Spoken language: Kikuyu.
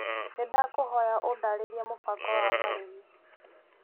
Nĩ ndakũhoya ũndarĩrie mũbango wa marĩhi.